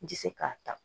N tɛ se k'a ta